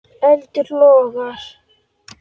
Eldur logar.